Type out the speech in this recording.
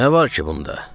Nə var ki bunda?